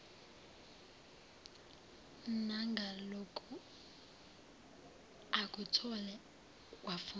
nangaloku akuthole kwafunda